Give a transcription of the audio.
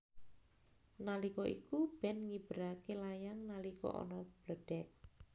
Nalika iku Ben ngiberake layangan nalika ana bledheg